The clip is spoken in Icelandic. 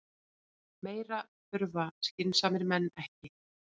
Meira þurfa skynsamir menn ekki.